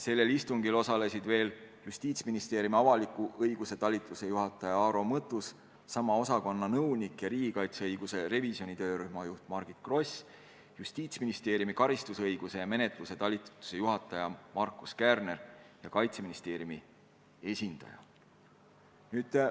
Sellel istungil osalesid veel Justiitsministeeriumi avaliku õiguse talituse juhataja Aaro Mõttus, sama osakonna nõunik ja riigikaitseõiguse revisjoni töörühma juht Margit Gross, Justiitsministeeriumi karistusõiguse ja menetluse talituse juhataja Markus Kärner ja Kaitseministeeriumi esindajad.